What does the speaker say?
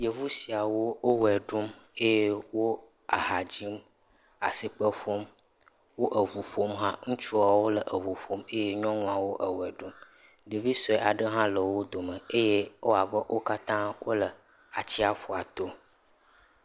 Yevu siawo wo ʋe ɖum eye wo eha dzim, asikpe ƒum, wo eŋu ƒom hã. Ŋutsuawo le eŋu ƒom eye nyɔnuawo ewɔe ɖum. Ɖevi sɔe aɖe hã le wo dome eye ewɔ abe wo katã wole atsiaƒua to.